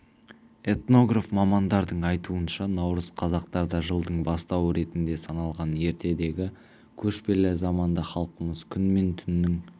этнограф мамандардың айтуынша наурыз қазақтарда жылдың бастауы ретінде саналған ертедегі көшпелі заманда халқымыз күн мен түннің